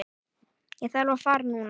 Ég þarf að fara núna